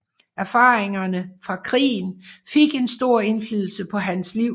Erfaringerne fra krigen fik en stor indflydelse på hans liv